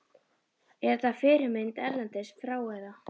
Er þetta fyrirmynd erlendis frá eða?